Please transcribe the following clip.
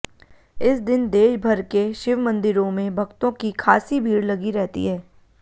इस दिन देशभर के शिव मंदिरों में भक्तों की खासी भीड लगी रहती है